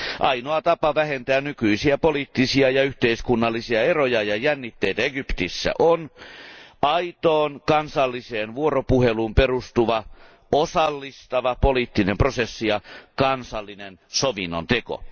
Ainoa tapa vähentää nykyisiä poliittisia ja yhteiskunnallisia eroja ja jännitteitä Egyptissä on aitoon kansalliseen vuoropuheluun perustuva osallistava poliittinen prosessi ja kansallinen sovinnon teko.